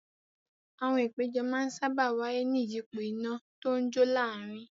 Àwọn ìpéjọ máa ń sáábà wáyé ní ìyípo iná tó ń jó láàárin.